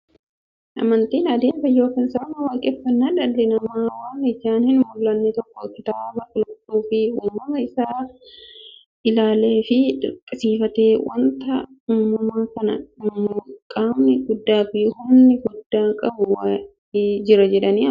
Amantiin adeemsa yookiin sirna waaqeffannaa dhalli namaa waan ijaan hin mullanne tokko kitaaba qulqulluufi uumama isaa isaa ilaaleefi dinqisiifatee, wanti uumama kana uumu qaamni guddaafi humna guddaa qabu wa'ii jira jedhanii amanuuti.